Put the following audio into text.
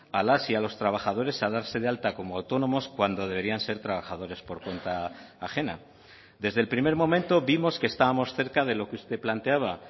a las y a los trabajadores a darse de alta como autónomos cuando deberían ser trabajadores por cuenta ajena desde el primer momento vimos que estábamos cerca de lo que usted planteaba